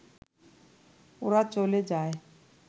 ওরা চলে যায়